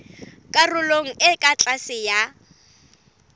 karolong e ka tlase ya